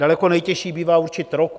Daleko nejtěžší bývá určit rok.